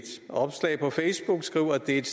et